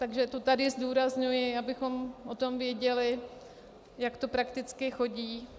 Takže to tady zdůrazňuji, abychom o tom věděli, jak to prakticky chodí.